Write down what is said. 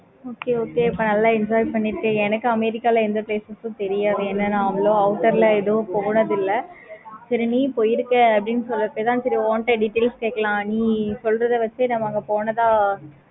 okay okay அப்போ நல்ல enjoy பண்ணிருக்கீங்க. எனக்கு america ல எந்த places தெரியாது ஏன எவ்வளோ outer ல எது போனது இல்ல. சரி நீ போயிருக்க அப்படின்னு சொல்லிட்டு தான் சரி உன்ட details கேட்கலாம் நீ சொல்றத வச்சி நம்ம அங்க போனதா